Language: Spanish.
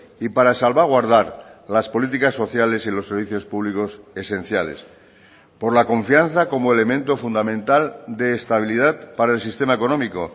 y para salvaguardar las políticas sociales y los servicios públicos esenciales por la confianza como elemento fundamental de estabilidad para el sistema económico